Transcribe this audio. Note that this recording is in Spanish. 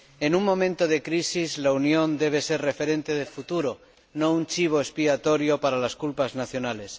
En un momento de crisis la Unión debe ser referente de futuro, no un chivo expiatorio para las culpas nacionales.